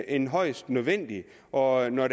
end højst nødvendigt og når